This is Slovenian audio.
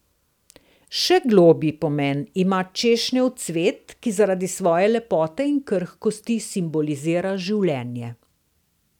Še globlji pomen ima češnjev cvet, ki zaradi svoje lepote in krhkosti simbolizira življenje.